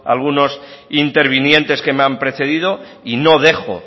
algunos intervinientes que me han precedido y no dejo